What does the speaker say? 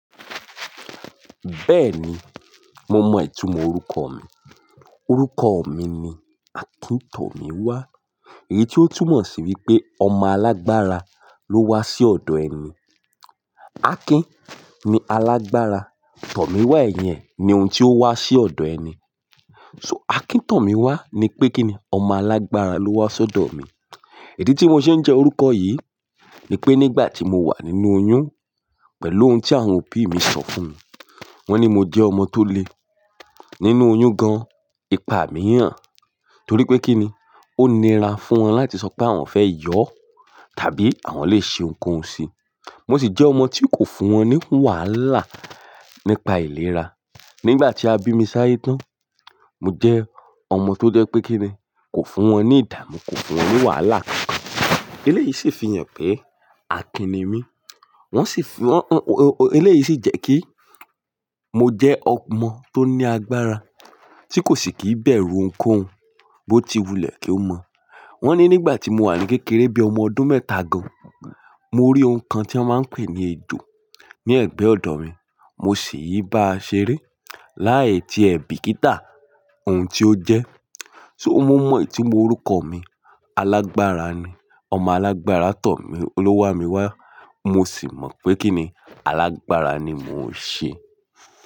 Bẹ́ẹ̀ni, mo mọ ìtumọ̀ orúkọ mi. Orúkọ mi ni Akíntọ̀míwá, èyí tí ó túmọ̀ sí wípé ọmọ alágbára ló wá sí ọ̀dọ̀ ẹni. Akin ni alágbára, tọ̀míwá ẹ̀yìn ẹ̀ ni ohun tí ó wá sí ọ̀dọ̀ ẹni. So Akíntọ̀míwá ni pé kíni ọmọ alágbára ló wá sí ọ̀dọ̀ mi. Ìdí tí mo ṣe ń jẹ́ orúkọ yìí ni pé nígbà tí mo wà nínú oyún pẹ̀lú ohun tí àwọn òbí mi sọ fún mi. Wọ́n ní mo jẹ́ ọmọ tó le nínú oyún gan ìpá miiyan torí pé kíni ó nira fún wọn láti sọ pé àwọn fẹ́ yọ̀ tàbí àwọn le ṣe nǹkan si. Mo sì jẹ́ ọmọ tí kò fún wọn ní wàhálà nípa ìlera. Nígbà tí a bí mi sáyẹ́ tán, mo jẹ́ ọmọ tó jẹ́ pé kíni kò fún wọn ní ìdààmú, kò fún wọn ní wàhálà kankan. Eléyìí sì fi hàn pé Akin ni mí. Wọ́n sì fi, eléyìí sì jẹ́ kí mo jẹ́ ọmọ tó ní agbára tí kò sì kí bẹ̀rù oun kó oun bó ti wulẹ̀ kí ó mọ̀. Wọ́n ní nígbà tí mo wà ní kékeré bí i ọmọ ọdún mẹ́ta gan, mo rí oun kan tí wọ́n máa ń pè ní ejò ní ẹ̀gbẹ́ ọ̀dọ̀ mi. Mo sì yí bá a ṣeré láì tí ẹ bí kí tà ohun tí ó jẹ́. So mo mọ ìtumọ̀ orúkọ mi. Alágbára ni, ọmọ alágbára tọ̀ mí, o lówá mi wá. Mo sì mọ̀ pé kíni alágbára ni mò ń ṣe.